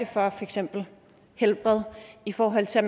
for eksempel helbred i forhold til